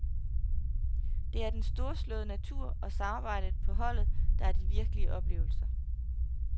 Det er den storslåede natur og samarbejdet på holdet, der er de virkelige oplevelser.